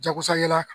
Jagosa yala